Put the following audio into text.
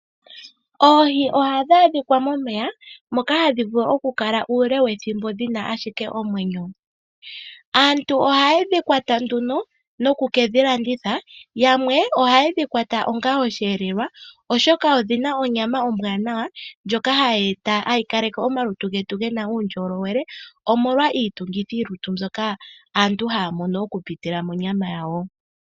Oohi ohadhi adhika momeya moka hadhi vulu oku kala uule wethimbo dhina ashike omwenyo. Aantu ohaye dhi kwata nduno nokukedhi landitha. Yamwe ohayedhi kwata onga osheelelwa oshoka odhina onyama ombwanawa ndjoka hayi kaleke omalutu getu gena uundjolowele omolwa iitungithilutu mbyoka aantu haa mono oku pitila monyama yawo.